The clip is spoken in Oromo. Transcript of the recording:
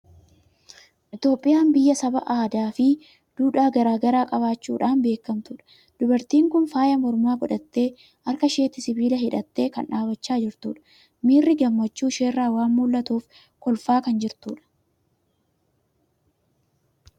Itoophiyaan biyya saba aadaa fi duudhaa garaa garaa qabaachuudhaan beekamtudha. Dubartiin kun faaya mormaa godhattee, harka ishiitti sibiila hidhattee kan dhaabachaa jirtudha. Miirri gammachuu isheerraa waan mul'atuuf, kolfaa kan jirtudha.